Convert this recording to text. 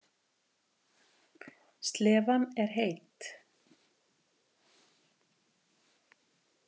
Slefan er heit.